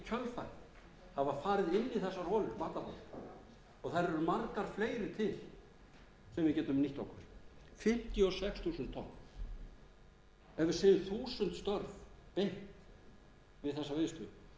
þessar matarholur og þær eru margar fleiri til sem við getum nýtt okkur fimmtíu og sex þúsund tonn ef við segjum þúsund störf beint við þessa vinnslu þá